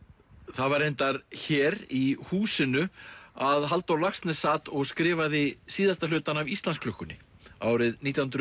það var reyndar hér í húsinu að Halldór Laxness sat og skrifaði síðasta hlutann af Íslandsklukkunni árið nítján hundruð